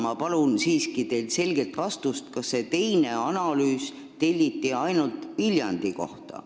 Ma palun teilt siiski selget vastust, kas see teine analüüs telliti ainult Viljandi kohta.